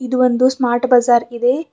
ಇದು ಒಂದು ಸ್ಮಾರ್ಟ್ ಬಜಾರ್ ಇದೆ.